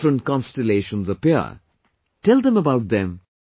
Different constellations appear, tell them about them